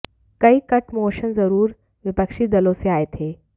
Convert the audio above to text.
कई cut motion ज़रूर विपक्षी दलों से आए थे